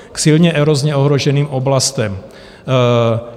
K silně erozně ohroženým oblastem.